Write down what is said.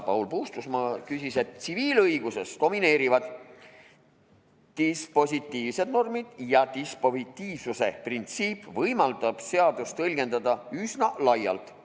Paul Puustusmaa ütles, et tsiviilõiguses domineerivad dispositiivsed normid ja dispositiivsuse printsiip võimaldab seadust tõlgendada üsna laialt.